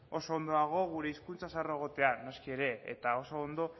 oso ondo dago gure hizkuntza zaharra egotea noski ere eta oso ondo